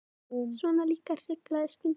Svona líka hrikalegar skyndimyndir!